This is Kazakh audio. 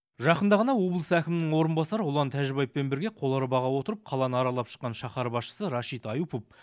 жақында ғана облыс әкімінің орынбасары ұлан тәжібаевпен бірге қоларбаға отырып қаланы аралап шыққан шаһар басшысы рашид аюпов